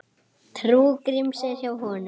Trú Gríms er hjá honum.